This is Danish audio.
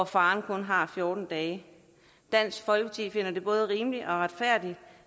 faren kun har fjorten dage dansk folkeparti finder det både rimeligt og retfærdigt